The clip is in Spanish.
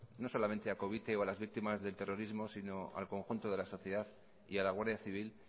no solamente a covite o a las víctimas de terrorismo sino al conjunto de la sociedad y a la guardia civil